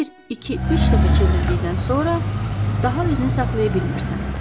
Bir, iki, üç dəfə çevrildikdən sonra daha özünü saxlaya bilmirsən.